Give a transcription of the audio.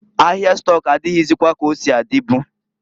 Ahia stọk adịghịzịkwa ka osi adịbu.